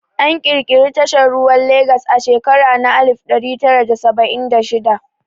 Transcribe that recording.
An ƙirƙiri tashar ruwa Lagas a shekara na alif ɗari tara da saba'in da shida